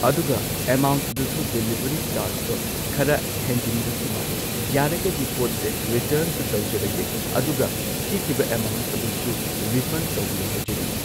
ꯑꯗꯨꯒ ꯑꯦꯃꯥꯎꯟꯗꯨꯁꯨ ꯗꯤꯂꯤꯪꯚꯔꯤ ꯆꯥꯔꯖꯇꯣ ꯈꯔ ꯍꯦꯟꯖꯤꯟꯕꯁꯨ ꯃꯥꯜꯂꯦ ꯌꯥꯔꯒꯗꯤ ꯄꯣꯠꯁꯦ ꯔꯤꯇꯔꯟꯁꯨ ꯇꯧꯖꯔꯒꯦ ꯑꯗꯨꯒ ꯊꯤꯈꯤꯕ ꯑꯦꯃꯥꯎꯟ ꯑꯗꯨꯁꯨ ꯔꯤꯐꯟ ꯇꯧꯕꯤꯔꯣ ꯍꯥꯏꯖꯔꯤ꯫